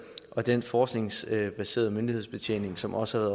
og den forskningsbaserede myndighedsbetjening som også